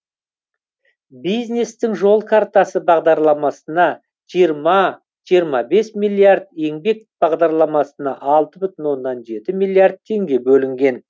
бизнестің жол картасы бағдарламасына жиырма жиырма бес миллиард еңбек бағдарламасына алты бүтін оннан жеті миллиард теңге бөлінген